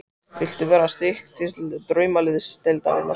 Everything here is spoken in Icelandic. Viltu vera styrktaraðili Draumaliðsdeildarinnar?